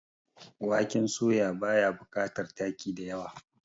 waken soya ba ya bukatar taki da yawa